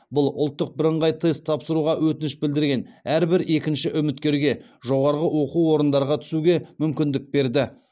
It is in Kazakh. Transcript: бұл ұлттық бірыңғай тест тапсыруға өтініш білдірген әрбір екінші үміткерге жоғарғы оқу орындарға түсуге мүмкіндік берді